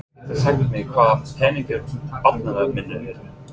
Hver getur sagt mér hvar peningar barnanna minna eru?